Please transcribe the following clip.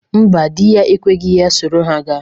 Mba, dị ya ekweghi ya soro ha gaa.